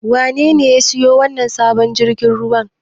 Wanene ya siyo wannan sabon jirgin ruwan?